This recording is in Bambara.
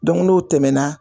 n'o tɛmɛna.